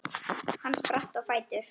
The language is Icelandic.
Hann spratt á fætur.